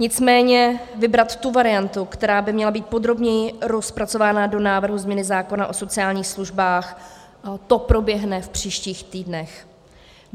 Nicméně vybrat tu variantu, která by měla být podrobněji rozpracována do návrhu změny zákona o sociálních službách, to proběhne v příštích týdnech.